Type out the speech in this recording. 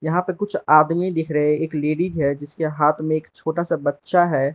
यहां पर कुछ आदमी दिख रहे हैं एक लेडिज है जिसके हाथ में एक छोटा सा बच्चा है।